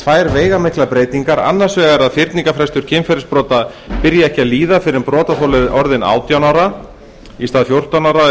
tvær veigamiklar breytingar annars vegar að fyrningarfrestur kynferðisbrota byrji ekki að líða fyrr en brotaþoli er orðinn átján ára í stað fjórtán ára eins og